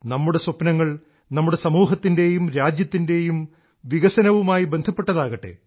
നമ്മുടെ സ്വപ്നങ്ങൾ നമ്മുടെ സമൂഹത്തിൻറേയും രാജ്യത്തിൻറേയും വികസനവുമായി ബന്ധപ്പെട്ടതാകട്ടെ